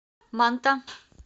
манта